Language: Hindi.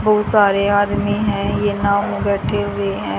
बहुत सारे आदमी हैं वो बैठे हुए हैं।